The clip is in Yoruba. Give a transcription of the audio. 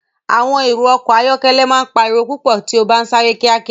Awọn ẹrọ ọkọ ayọkẹlẹ ma n pariwo pupọ ti o ba n sare kiakia.